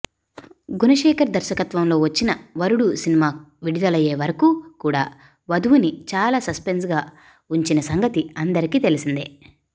గుణశేఖర్ దర్శకత్వంలో వచ్చిన వరుడు సినిమా విడులయ్యే వరకు కూడా వధువుని చాలా సస్పెన్స్ గాఉంచిన సంగతి అందరికి తెలిసిందే